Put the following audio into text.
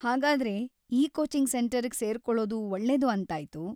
ಹಾಗಾದ್ರೆ, ಈ ಕೋಚಿಂಗ್ ಸೆಂಟರಿಗ್ ಸೇರ್ಕೊಳೋದು ಒಳ್ಳೇದು ಅಂತಾಯ್ತು.